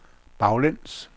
baglæns